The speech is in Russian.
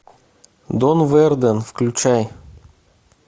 дон верден включай